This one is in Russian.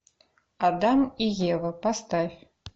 адам и ева поставь